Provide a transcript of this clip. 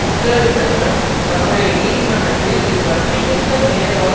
உத்தரவிட்டதுடன் தன்னுடைய நீதிமன்றத்தில் இதுபற்றி எந்த மேலதிக